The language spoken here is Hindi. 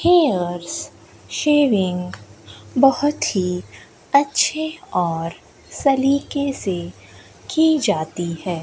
हेयर्स शेविंग बहोत ही अच्छे और सलीके से की जाती है।